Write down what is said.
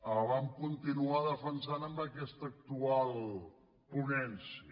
el vam continuar defensant en aquesta actual ponència